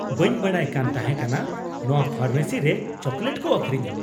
ᱵᱟᱹᱧ ᱵᱟᱰᱟᱭ ᱠᱟᱱ ᱛᱟᱦᱮᱸ ᱠᱟᱱᱟ ᱱᱚᱶᱟ ᱯᱷᱟᱨᱢᱮᱥᱤ ᱨᱮ ᱪᱚᱠᱞᱮᱴ ᱠᱚ ᱟᱹᱠᱷᱨᱤᱧᱟ !